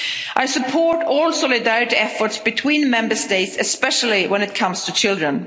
this. I support all solidarity efforts between Member States, especially when it comes to children.